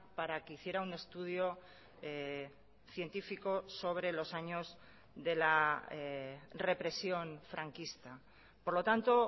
para que hiciera un estudio científico sobre los años de la represión franquista por lo tanto